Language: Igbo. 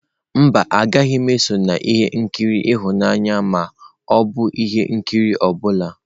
Mba, agaghị m eso na ihe nkiri ịhụnanya ma ọ bụ ihe nkiri ọ bụla.